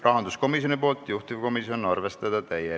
Teine muudatusettepanek rahanduskomisjonilt, juhtivkomisjon: arvestada täielikult.